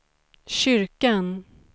kyrkan